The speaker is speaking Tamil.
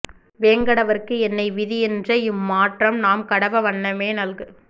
வேங்கடவற்கு என்னை விதி யென்ற இம்மாற்றம் நாம் கடவா வண்ணமே நல்கு